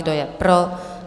Kdo je pro?